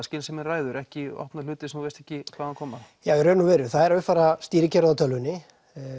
skynsemin ræður ekki opna hluti sem þú veist ekki hvaðan koma já í raun og veru það er að uppfæra stýrikerfið á tölvunni